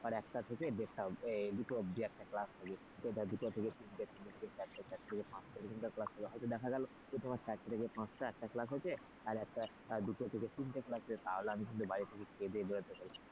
ধর একটা দেড়টা এই দুটো অবধি একটা class হবে দুটো থেকে তিনটে চারটা থেকে পাঁচটা এরকম class হবে হয়তো দেখা গেল তোমার চারটে থেকে পাঁচটা একটা class হয়েছে আর একটা দুটো থেকে তিনটে class হয়েছে তাহলে কিন্তু আমি বাড়ি থেকে খেয়েদেয়ে বেরোতে পারি,